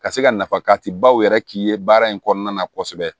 Ka se ka nafati baw yɛrɛ k'i ye baara in kɔnɔna na kosɛbɛ